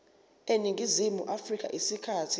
eningizimu afrika isikhathi